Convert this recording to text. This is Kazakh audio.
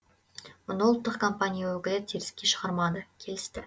мұны ұлттық компания өкілі теріске шығармады келісті